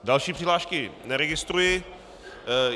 Další přihlášky neregistruji.